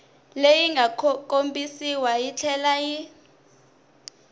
leyi nga kombisiwa yitlhela yi